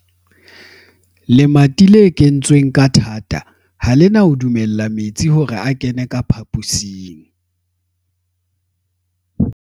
lemati le kwetsweng ka thata ha le na ho dumella metsi hore a kene ka phaposing